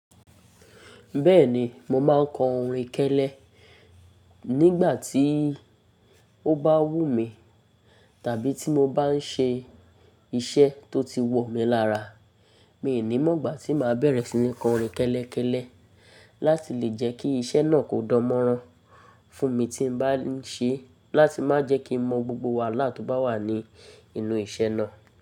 Bẹ́ẹ̀ni, mo máa ń kọ orin kẹ́lẹ́ nígbà tí ó bá wù mí, tàbí tí mo bá ń ṣe iṣẹ́ tó ti wọ̀ mí lára. Mi ò ní mọ̀ gbà tí màá bẹ̀rẹ̀ sí ní kọ orin kẹ́lẹ́ kẹ́lẹ́ láti lè jẹ́ kí iṣẹ́ náà kó dánmọ́rán fún mi tí n bá ń ṣe é láti má jẹ́ kí n mọ gbogbo wàhálà tó bá wà ní inú iṣẹ́ náà.